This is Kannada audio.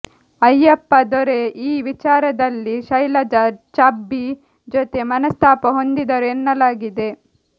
ಅಯ್ಯಪ್ಪ ದೊರೆ ಈ ವಿಚಾರದಲ್ಲಿ ಶೈಲಜಾ ಛಬ್ಬಿ ಜೊತೆ ಮನಸ್ತಾಪ ಹೊಂದಿದರು ಎನ್ನಲಾಗಿದೆ